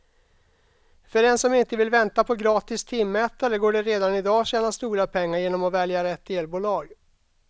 För den som inte vill vänta på gratis timmätare går det redan i dag att tjäna stora pengar genom att välja rätt elbolag.